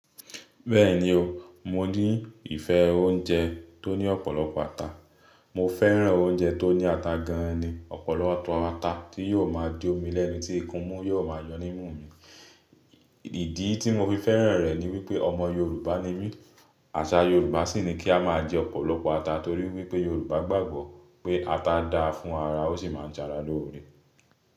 Bẹ́ẹ̀ni o, mo ní ìfẹ́ oúnjẹ tó ní ọ̀pọ̀lọpọ̀ ata. Mo fẹ́ràn oúnjẹ tó ní ata gan ni, ọ̀pọ̀lọpọ̀ ata tí yóò máa jo omi lẹ́nu tí ikùn mú yóò máa yọ nímu mi. Ìdí tí mo fi fẹ́ràn rẹ̀ ni wípé ọmọ Yorùbá ni mí, àṣà Yorùbá sì ni kí a máa jẹ ọ̀pọ̀lọpọ̀ ata torí wípé Yorùbá gbàgbọ́ pé ata dáa fún ara ó sì máa ń sara lóore.